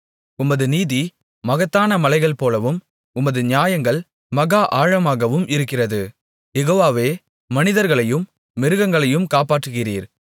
உமது நீதி மகத்தான மலைகள் போலவும் உமது நியாயங்கள் மகா ஆழமாகவும் இருக்கிறது யெகோவாவே மனிதர்களையும் மிருகங்களையும் காப்பாற்றுகிறீர்